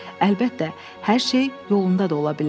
Əlbəttə, hər şey yolunda da ola bilərdi.